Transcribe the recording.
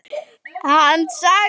Hann sagði.